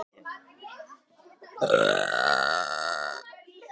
Ég hef nú varla sagt aukatekið orð svaraði ég.